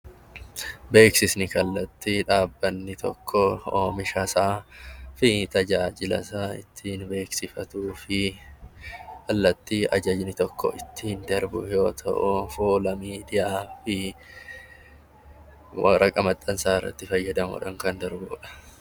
Beeksisni kallattii dhaabbanni tokko oomisha isaa fi tajaajila isaa ittiin beeksifatuu fi kallatti ajajni tokko ittiin darbu yoo ta'u, fuula miidiyaa fi waraqaa maxxansaa irratti fayyadamuu dhaan kan darbu dha.